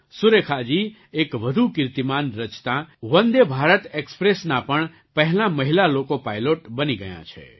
સુરેખાજી એક વધુ કીર્તિમાન રચતાં વંદે ભારત ઍક્સ્પ્રેસનાં પણ પહેલાં મહિલા લૉકો પાઇલૉટ બની ગયાં છે